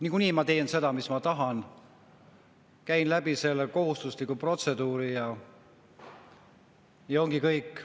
"Niikuinii ma teen seda, mida tahan, käin selle kohustusliku protseduuri läbi ja ongi kõik.